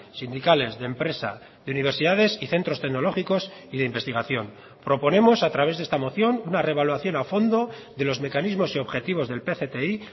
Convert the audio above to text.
sindicales de empresa de universidades y centros tecnológicos y de investigación proponemos a través de esta moción una reevaluación a fondo de los mecanismos y objetivos del pcti